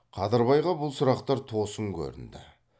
қадырбайға бұл сұрақтар тосын көрінді